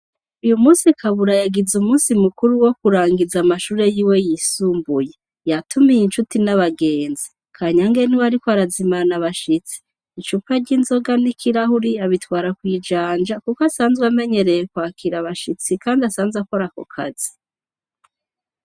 Uyumunsi kabura yagize umunsi mukuru wokurangiza amashure yiwe yisumbuye yatumiye incuti nabagenzi kanyange niwe ariko arazimana abashitsi icupa ryinzoga nikirahuri abitwara kwijanja kuko asanzwe amenyereye kwakira abashitsi kandi asanzwe akora akokazi